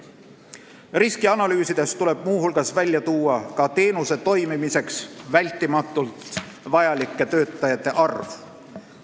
Riskianalüüsis tuleb muu hulgas välja tuua teenuse toimimiseks vältimatult vajalike töötajate arv.